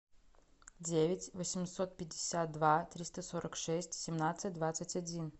девять восемьсот пятьдесят два триста сорок шесть семнадцать двадцать один